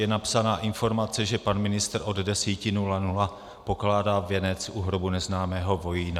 je napsaná informace, že pan ministr od 10.00 pokládá věnec u hrobu neznámého vojína.